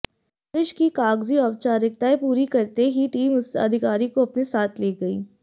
दबिश की कागजी औपचारिकतायें पूरी करते ही टीम उस अधिकारी को अपने साथ ले गई